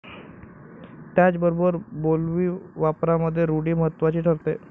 त्याचबरोबर बोलीवापरामध्ये रूढी महत्वाची ठरते.